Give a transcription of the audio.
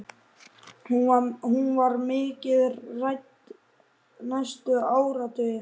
Hún var mikið rædd næstu áratugi.